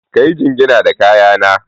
Ka yi jingina da kaya na.